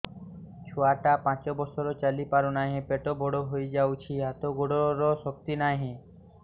ଛୁଆଟା ପାଞ୍ଚ ବର୍ଷର ଚାଲି ପାରୁନାହଁ ପେଟ ବଡ ହୋଇ ଯାଉଛି ହାତ ଗୋଡ଼ର ଶକ୍ତି ନାହିଁ